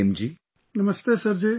Namaste Prem ji |